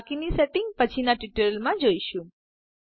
બાકીની સેટિંગ્સ પછીના ટ્યુટોરિયલ્સ માં જોઈશું